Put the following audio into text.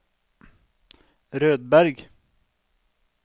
Rødberg